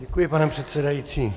Děkuji, pane předsedající.